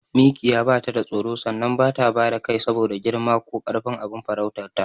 Mikiya batada tsoro sannan bata bada kai saboda girma ko karfin abin farautarta.